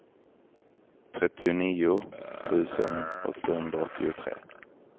trettionio tusen åttahundraåttiotre